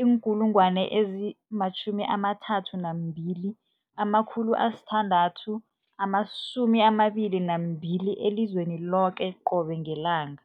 032 622 elizweni loke qobe ngelanga.